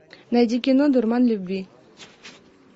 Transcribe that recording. найди кино дурман любви